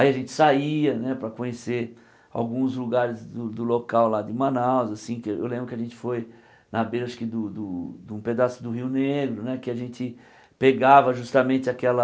Aí a gente saía, né, para conhecer alguns lugares do do local lá de Manaus, assim, que eu lembro que a gente foi na beira do do, acho que, de um pedaço do Rio Negro, né, que a gente pegava justamente aquela